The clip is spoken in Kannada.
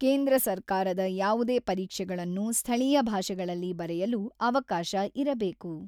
ಕೇಂದ್ರ ಸರ್ಕಾರದ ಯಾವುದೇ ಪರೀಕ್ಷೆಗಳನ್ನು ಸ್ಥಳೀಯ ಭಾಷೆಗಳಲ್ಲಿ ಬರೆಯಲು ಅವಕಾಶ ಇರಬೇಕು.